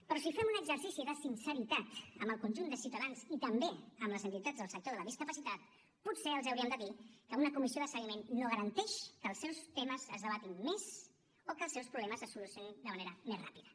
però si fem un exercici de sinceritat amb el conjunt de ciutadans i també amb les entitats del sector de la discapacitat potser els hauríem de dir que una comissió de seguiment no garanteix que els seus temes es debatin més o que els seus problemes es solucionin de manera més ràpida